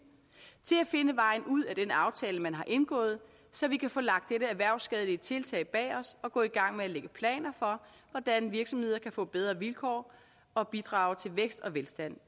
til at finde vejen ud af den aftale man har indgået så vi kan få lagt dette erhvervsskadelige tiltag bag os og gå i gang med at lægge planer for hvordan virksomheder kan få bedre vilkår og bidrage til vækst og velstand